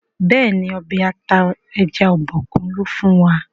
béèni Ọbẹ̀ ata ẹja Obokun lò fún wa.